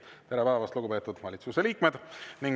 Tere päevast, lugupeetud valitsuse liikmed!